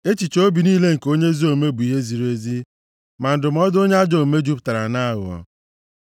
Echiche obi niile nke onye ezi omume bụ ihe ziri ezi, ma ndụmọdụ onye ajọ omume jupụtara nʼaghụghọ.